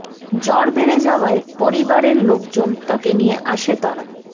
জ্বর বেড়ে যাওয়ায় পরিবারের লোকজন তাকে নিয়ে আসে তারা